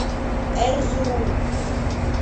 эрзурум